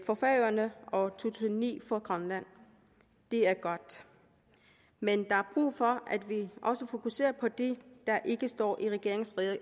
for færøerne og tusind og ni for grønland det er godt men der er brug for at vi også fokuserer på det der ikke står i regeringens